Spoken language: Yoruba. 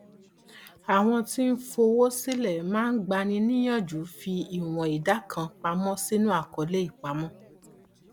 àwọn tí ń fowó sílẹ máa ń gbani níyànjú fi ìwọn ìdá kan pamọ sínú àkọọlẹ ìpamọ